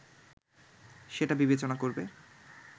সেটা বিবেচনা করবে